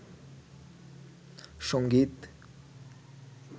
সংগীত